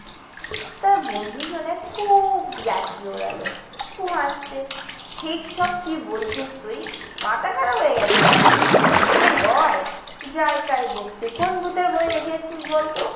তার বন্ধু শুনে খুব ইয়ার্কি উড়ালো। খুব হাসছে। এইসব কি বলছিস তুই? মাথা খারাপ হয়ে গেছে নাকি? এসব হয়? যাই তাই বকছে। কোন ভুতের ভয় দেখে এসেছিস বলতো?